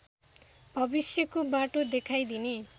भविष्यको बाटो देखाइदिने